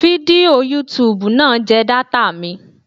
Fídíò yútubù náà jẹ data mi.